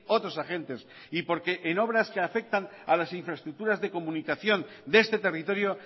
otros agentes y porque en obras que afectan a las infraestructuras de comunicación de este territorio